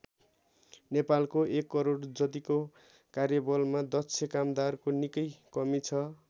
नेपालको १ करोड जतिको कार्यबलमा दक्ष कामदारको निकै कमि छ।